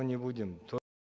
не будем